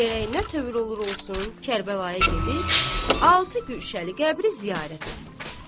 Gərək nə tövr olur olsun, Kərbəlaya gedib, altı gülşəli qəbri ziyarət edib.